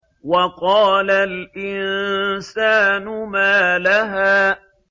وَقَالَ الْإِنسَانُ مَا لَهَا